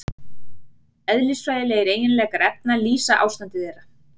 Eðlisfræðilegir eiginleikar efna lýsa ástandi þeirra.